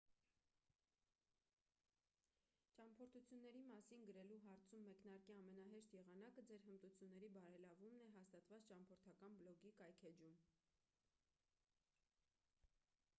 ճամփորդությունների մասին գրելու հարցում մեկնարկի ամենահեշտ եղանակը ձեր հմտությունների բարելավումն է հաստատված ճամփորդական բլոգի կայքէջում